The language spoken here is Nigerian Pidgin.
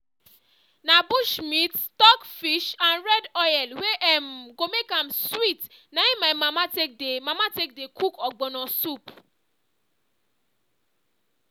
na bush meat stockfish and red oil wey um go make am sweet na im my mama take dey mama take dey cook ogbono soup